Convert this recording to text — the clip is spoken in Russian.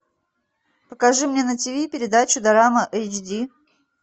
покажи мне на ти ви передачу дорама эйч ди